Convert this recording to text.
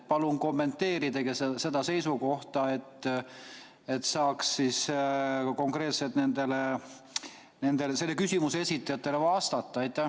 Palun kommenteerige seda seisukohta, et saaks nendele küsimuse esitajatele konkreetselt vastata!